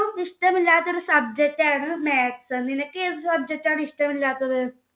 ഇഷ്ടമില്ലാത്തൊരു subject ആണ് maths. നിനക്ക് ഏത് subject ആണ് ഇഷ്ടമില്ലാത്തത്?